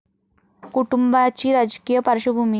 कुटुंबाची राजकीय पार्श्वभूमी